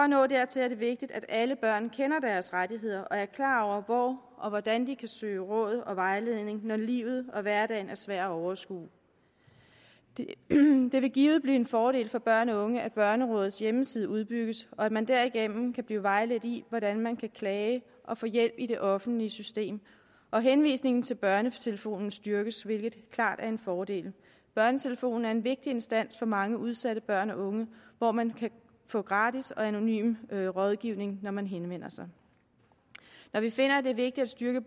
nå dertil er det vigtigt at alle børn kender deres rettigheder og er klar over hvor og hvordan de kan søge råd og vejledning når livet og hverdagen er svær at overskue det vil givet blive en fordel for børn og unge at børnerådets hjemmeside udbygges og at man derigennem kan blive vejledt i hvordan man kan klage og få hjælp i det offentlige system og henvisningen til børnetelefonen styrkes hvilket klart er en fordel børnetelefonen er en vigtig instans for mange udsatte børn og unge hvor man kan få gratis og anonym rådgivning når man henvender sig når vi finder det er vigtigt at styrke